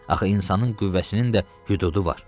Axı insanın qüvvəsinin də hüdudu var.